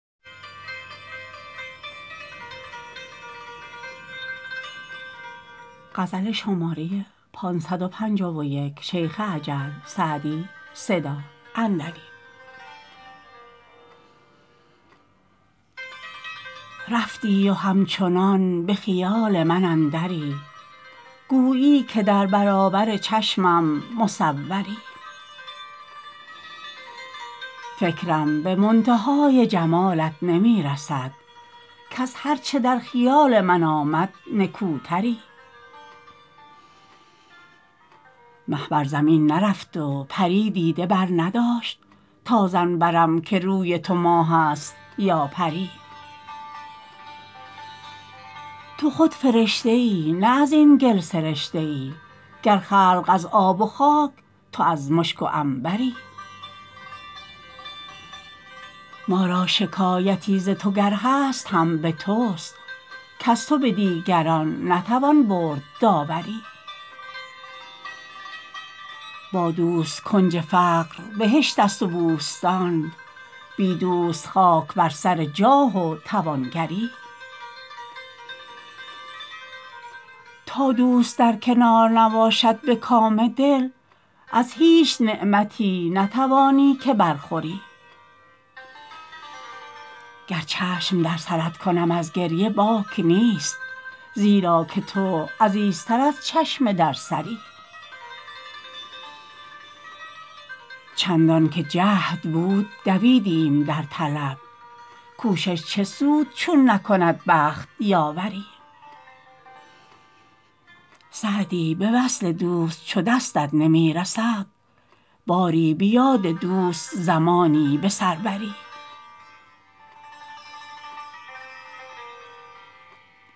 رفتی و همچنان به خیال من اندری گویی که در برابر چشمم مصوری فکرم به منتهای جمالت نمی رسد کز هر چه در خیال من آمد نکوتری مه بر زمین نرفت و پری دیده برنداشت تا ظن برم که روی تو ماه است یا پری تو خود فرشته ای نه از این گل سرشته ای گر خلق از آب و خاک تو از مشک و عنبری ما را شکایتی ز تو گر هست هم به توست کز تو به دیگران نتوان برد داوری با دوست کنج فقر بهشت است و بوستان بی دوست خاک بر سر جاه و توانگری تا دوست در کنار نباشد به کام دل از هیچ نعمتی نتوانی که برخوری گر چشم در سرت کنم از گریه باک نیست زیرا که تو عزیزتر از چشم در سری چندان که جهد بود دویدیم در طلب کوشش چه سود چون نکند بخت یاوری سعدی به وصل دوست چو دستت نمی رسد باری به یاد دوست زمانی به سر بری